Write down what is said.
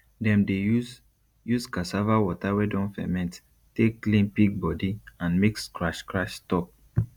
dem dey use use cassava water wey don ferment take clean pig body and make scratch scratch stop